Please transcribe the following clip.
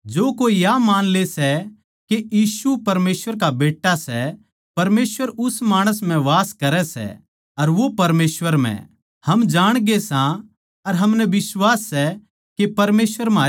इस्से तै प्यार म्हारै म्ह सिध्द होया के न्याय कै दिन हमनै यो होसला मिलै के परमेसवर हमनै दण्ड न्ही देगा जिसा मसीह दुनिया म्ह रहन्दे होए परमेसवर म्ह वास करै था उसाए हम भी परमेसवर म्ह वास करां सां